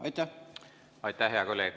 Aitäh, hea kolleeg!